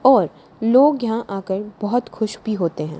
और लोग यहां आकर बहुत खुश भी होते हैं।